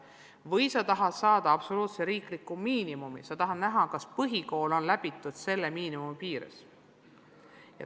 Või äkki tahetakse aluseks võtta absoluutne üleriigiline miinimum, tahetakse näha, kas põhikool on läbitud vähemalt selle miinimumi ulatuses.